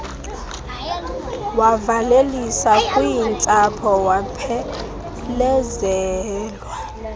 wavalelisa kwintsapho waphelezelwa